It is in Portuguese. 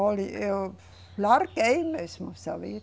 Olhe, eu larguei mesmo, sabe?